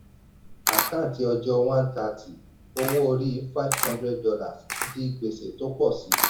àkántì ọjọ one thirty, owó orí five hundred dollars di gbèsè tó pọ̀ sí.